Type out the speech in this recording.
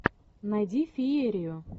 найди феерию